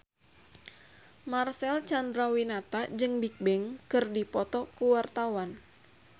Marcel Chandrawinata jeung Bigbang keur dipoto ku wartawan